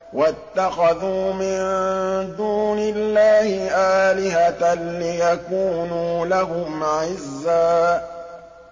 وَاتَّخَذُوا مِن دُونِ اللَّهِ آلِهَةً لِّيَكُونُوا لَهُمْ عِزًّا